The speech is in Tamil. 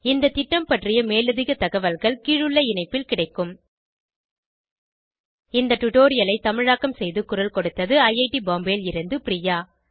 இந்த திட்டம் பற்றிய மேலதிக தகவல்கள் கீழுள்ள இணைப்பில் கிடைக்கும் இந்த டுடோரியலை தமிழாக்கம் செய்து குரல் கொடுத்தது ஐஐடி பாம்பேவில் இருந்து பிரியா